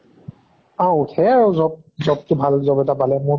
অ উঠে আৰু job টো ভাল job এটা পালে, মোৰ